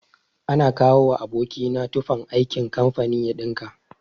Ana kawowa aboki na tufan aikin kamfani ya ɗinka.